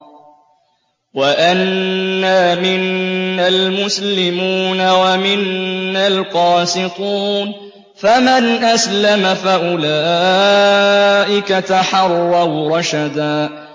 وَأَنَّا مِنَّا الْمُسْلِمُونَ وَمِنَّا الْقَاسِطُونَ ۖ فَمَنْ أَسْلَمَ فَأُولَٰئِكَ تَحَرَّوْا رَشَدًا